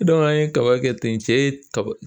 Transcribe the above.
an ye kaba kɛ ten cɛ ye taba